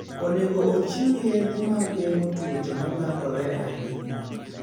Onego ochiw yedhe mag geng'o tuoche ma landore ahinya.